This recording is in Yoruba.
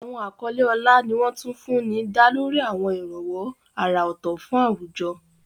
Àwọn àkọlé ọlá ni wọ́n tún fún ní dá lórí àwọn ìrànwọ́ àrà ọ̀tọ̀ fún àwùjọ.